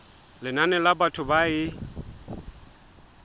lenane la batho ba e